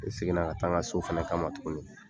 Ne seginna ka taa n ka so fɛnɛ kama tuguni.